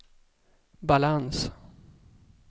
balans